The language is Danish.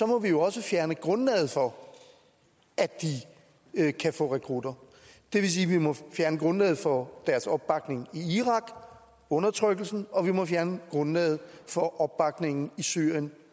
må vi jo også fjerne grundlaget for at de kan kan få rekrutter det vil sige at vi må fjerne grundlaget for deres opbakning i irak undertrykkelsen og vi må fjerne grundlaget for opbakningen i syrien